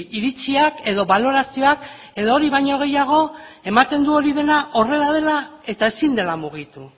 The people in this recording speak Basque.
iritziak edo balorazioak edo hori baino gehiago ematen du hori dena horrela dela eta ezin dela mugitu